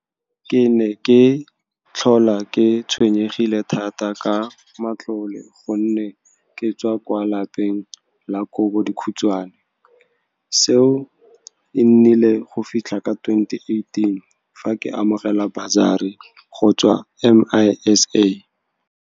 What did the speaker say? Ke ne ke tlhola ke tshwenyegile thata ka matlole gonne ke tswa kwa lapeng la kobo dikhutswane. Seo e nnile go fitlha ka 2018, fa ke amogela basari go tswa MISA.